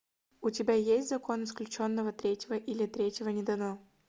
у тебя есть закон исключенного третьего или третьего не дано